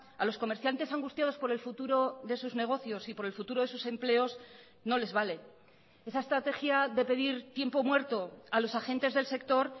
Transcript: a los comerciantes angustiados por el futuro de sus negocios y por el futuro de sus empleos no les vale esa estrategia de pedir tiempo muerto a los agentes del sector